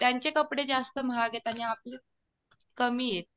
त्यांचे कपडे जास्त महाग आहे आणि आपले कमी आहे.